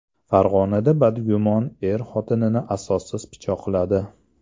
Farg‘onada badgumon er xotinini asossiz pichoqladi.